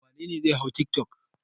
Wane ne zai hau tiktok?